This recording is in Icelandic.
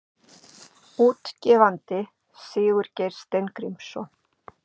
Útgefandi Sigurgeir Steingrímsson.